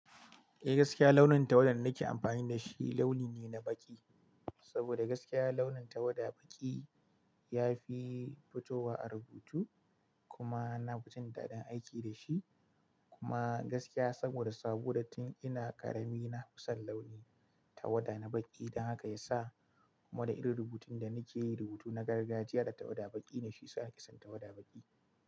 Eh gaskiya launin tawada da nake amfani da shi launi ne na baƙi. Saboda gaskiya launin tawada baƙi ya fi fitowa a rubutu kuma na fijin daɗin aiki da shi. Kuma gaskiya saboda saboda tun ina ƙarami na fi son launi tawada na baƙi. Dan haka ya sa kuma da irin rubutun da nake yi rubutu na gargajiya da tawada baƙi ne shiyasa nake son tawada baƙi.